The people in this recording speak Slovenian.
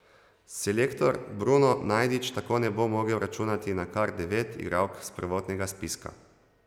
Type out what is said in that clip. Selektor Bruno Najdič tako ne bo mogel računati na kar devet igralk s prvotnega spiska.